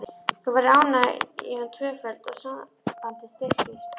Þá verður ánægjan tvöföld og sambandið styrkist.